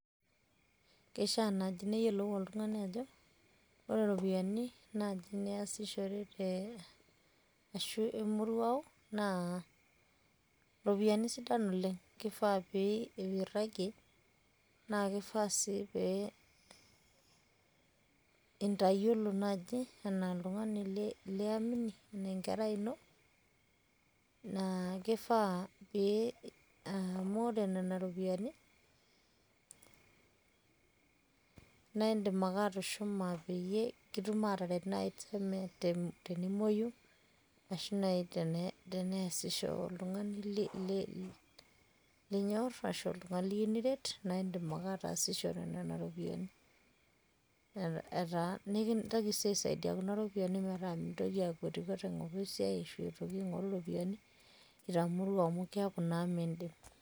keishaa naaji neyiolou oltungai ajo ore iropiyiani niasishore emoruao. kifaa pee irajie, naa kifaa sii pee intayiolo naaji anaa oltungani liamini, anaa enkerai ino, naa kifaa pee ,amu ore nena ropiyiani naa idim atushuma peeyie kidim aataret tenimuoyu ashu naaji teneesisho oltungani linyor ashu oltungani lyiou niret, naa idim ake ataasishore nena ropiyiani. etaa nikintoki sii aisaidia kuna ropiyiani metaa mintoki akwetikwet aing'oru esiai itamorua amu keeku naa miidim.